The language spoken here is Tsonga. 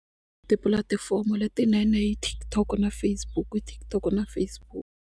Tipulatifomo letinene i TikTok na Facebook TikTok na Facebook.